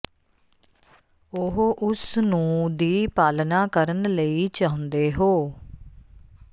ਉਹ ਉਸ ਨੂੰ ਦੀ ਪਾਲਣਾ ਕਰਨ ਲਈ ਚਾਹੁੰਦੇ ਹੋ